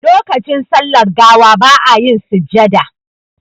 Lokacin sallar gawa ba a yin sujjada